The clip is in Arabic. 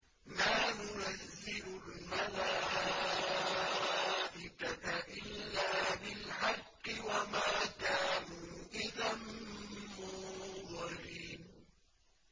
مَا نُنَزِّلُ الْمَلَائِكَةَ إِلَّا بِالْحَقِّ وَمَا كَانُوا إِذًا مُّنظَرِينَ